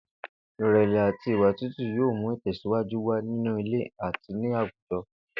Ìrè̩lè̩ àti ìwà tútù yóò mú ìtè̩síwájú wà nínú ilé àti ní àwùjo̩